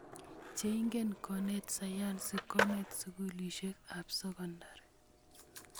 cheingen konet sayansi konet sukulisiek ap sekondari